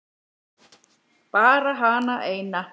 Bara hana eina.